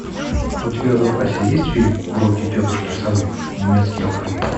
у тебя в запасе есть фильм уроки тетушки совы немецкий алфавит